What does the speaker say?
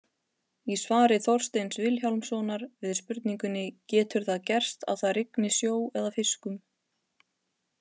Í svari Þorsteins Vilhjálmssonar við spurningunni Getur það gerst að það rigni sjó eða fiskum?